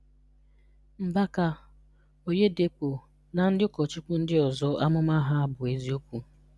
Mbaka, Oyedepo na ndị ụkọchukwu ndị ọzọ amụma ha bụ eziokwu.